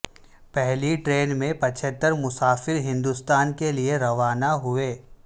پہلی ٹرین میں پچہتر مسافر ہندوستان کے لیے روانہ ہوئے